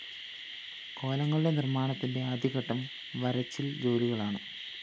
കോലങ്ങളുടെ നിര്‍മ്മാണത്തിന്റെ ആദ്യഘട്ടം വരിച്ചില്‍ ജോലികളാണ്